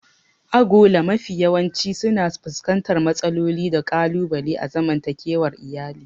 Agola mafi yawanci suna fuskantar matsaloli da ƙalubale a zaman takewar iyali.